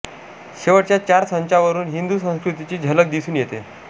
शेवटच्या चार संचावरून हिंदू संस्कृतीची झलक दिसून येते